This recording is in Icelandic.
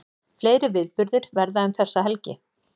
Fleiri viðburðir verða um þessa helgi